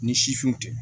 Ni sifinw tɛ